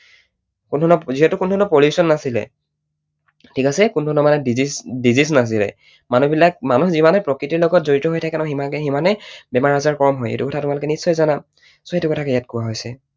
কোনোধৰণৰ, যিহেতু কোনোধৰণৰ pollution নাছিলে, ঠিক আছে? কোনোধৰণৰ মানে disease নাছিলে। মানুহবিলাক, মানুহ যিমানেই প্ৰকৃতিৰ লগত জড়িত হৈ থাকে ন সিমানেই বেমাৰ আজাৰ কম হয় সেইটো কথা তোমালোকে নিশ্চয় জানা? so সেইটো কথাকেই ইয়াত কোৱা হৈছে।